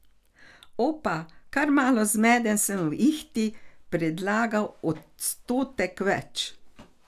Opa, kar malo zmeden sem v ihti predlagal odstotek več.